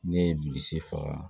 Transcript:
Ne ye bilisi faga